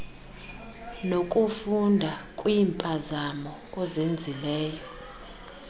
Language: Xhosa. nokufunda kwiimpazamo ozenzileyo